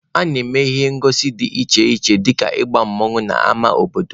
A na-eme ihe ngosi dị iche iche dịka ịgba mmanwụ n'ama obodo.